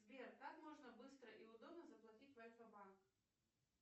сбер как можно быстро и удобно заплатить в альфа банк